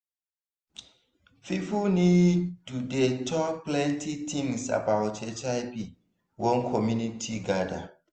people need to dey talk plenty things about hiv when community gather